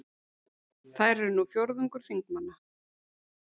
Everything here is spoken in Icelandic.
Þær eru nú fjórðungur þingmanna